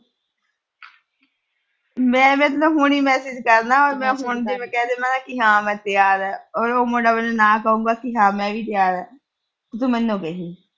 ਮੈਂ ਹੁਣੀ message ਕਰਨਾ। ਹੁਣ ਜੇ ਮੈਂ ਕਹਿ ਦੇਣਾ ਨਾ ਹਾਂ ਮੈਂ ਤਿਆਰ ਆ, ਉਹ ਮੁੰਡਾ ਨਾਲ ਕਹੂਗਾ, ਹਾਂ ਮੈਂ ਵੀ ਤਿਆਰ ਆ। ਤੂੰ ਮੈਨੂੰ ਕਹੀ।